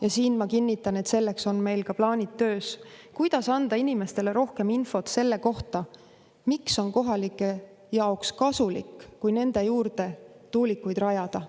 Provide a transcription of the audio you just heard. Ja siin ma kinnitan, et selleks on meil töös plaanid, kuidas anda inimestele rohkem infot selle kohta, miks on kohalike jaoks kasulik, kui nende juurde tuulikuid rajada.